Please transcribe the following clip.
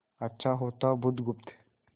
अच्छा होता बुधगुप्त